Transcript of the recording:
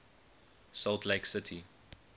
salt lake city